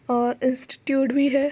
और इंस्टिट्यूट भी है।